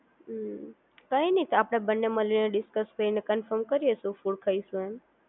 હમ્મ કઈ નહિ તો આપડે બંને મળીને ડિસ્કસ કરીને કોનફોર્મ કરીએ શું ફૂડ ખાઈશું એમ